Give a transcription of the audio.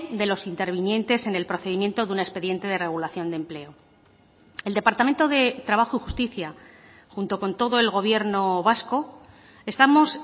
de los intervinientes en el procedimiento de un expediente de regulación de empleo el departamento de trabajo y justicia junto con todo el gobierno vasco estamos